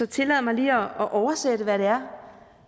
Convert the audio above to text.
tillader mig lige at oversætte hvad det er